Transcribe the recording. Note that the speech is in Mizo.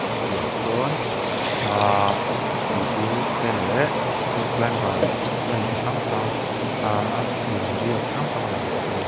a piahah sawn ahhh pipu te leh net climber ten chi hrang hrang ahhh a pianzia chi hrang hrang a lang bawk a ni.